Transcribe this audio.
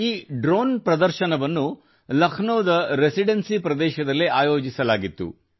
ಈ ಡ್ರೋನ್ ಪ್ರದರ್ಶನವನ್ನು ಲಕ್ನೋದ ರೆಸಿಡೆನ್ಸಿ ಪ್ರದೇಶದಲ್ಲಿ ಆಯೋಜಿಸಲಾಗಿತ್ತು